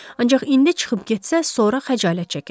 Ancaq indi çıxıb getsə, sonra xəcalət çəkəcək.